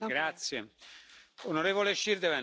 Herr Präsident, werte Kolleginnen und Kollegen!